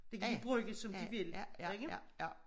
Det kan de bruge som de vil ikke